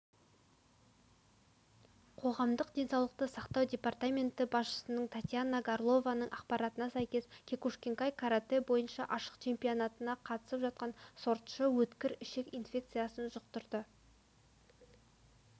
қоғамдық денсаулықты сақтау департаменті басшысының татьяна горлованың ақпаратына сәйкес кекушинкай каратэ бойынша ашық чемпионатына қатысып жатқан сортшы өткір ішек инфекциясын жұқтырды